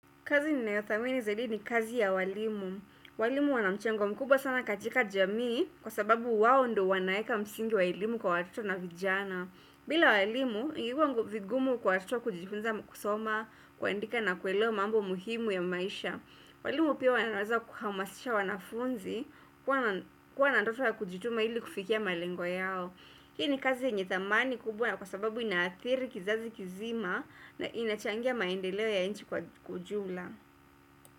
Kazi ni nayothamini zaidi ni kazi ya walimu. Walimu wana mchango mkubwa sana katika jamii kwa sababu wao ndio wanaeka msingi wa elimu kwa watoto na vijana. Bila walimu, ingekuwa vigumu kwa watoto kujifunza kusoma, kuandika na kuelewa mambo muhimu ya maisha. Walimu pia wanaweza kuhamasisha wanafunzi kuwa na ndoto ya kujituma ili kufikia malengo yao. Hii ni kazi yenye thamani kubwa kwa sababu inaathiri kizazi kizima na inachangia maendeleo ya nchi kwa ujumla.